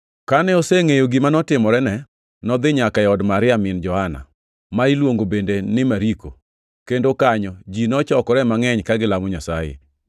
Kane osengʼeyo gima notimorene, nodhi nyaka od Maria min Johana, ma niluongo bende ni Mariko, kendo kanyo ji nochokore mangʼeny ka gilamo Nyasaye.